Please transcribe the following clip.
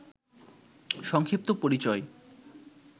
সংক্ষিপ্ত পরিচয়